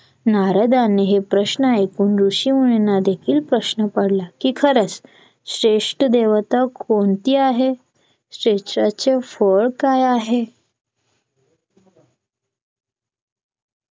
नारदाने हे प्रश्न ऐकून ऋषीमुनींना देखील प्रश्न पडला कि खरंच श्रेष्ठ देवता कोणती आहे? श्रेष्ठांचे फळ काय आहे?